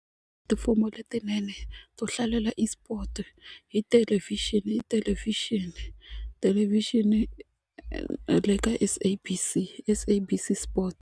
letinene to hlalela esport hi thelevhixini thelevhixini thelevhixini na le ka SABC SABC sport.